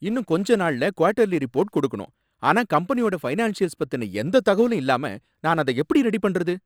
இன்னும் கொஞ்ச நாள்ல குவார்ட்டர்லி ரிப்போர்ட் கொடுக்கணும், ஆனா கம்பெனியோட ஃபைனான்ஸியல்ஸ் பத்தின எந்த தகவலும் இல்லாம நான் அத எப்படி ரெடி பண்றது?